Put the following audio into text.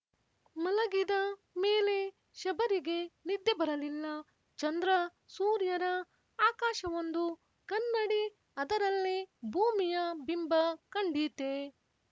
ಮಲಗಿದ ಮೇಲೆ ಶಬರಿಗೆ ನಿದ್ದೆ ಬರಲಿಲ್ಲ ಚಂದ್ರಸೂರ್ಯರ ಆಕಾಶವೊಂದು ಕನ್ನಡಿ ಅದರಲ್ಲಿ ಭೂಮಿಯ ಬಿಂಬ ಕಂಡೀತೆ